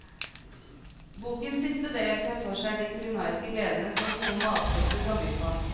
Bokens siste del tar for seg de kulinariske gledene som gode matsopper kan by på.